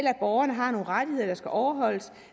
at borgerne har nogle rettigheder der skal overholdes